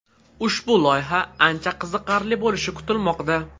Ushbu loyiha ancha qiziqarli bo‘lishi kutilmoqda.